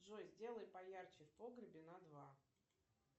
джой сделай поярче в погребе на два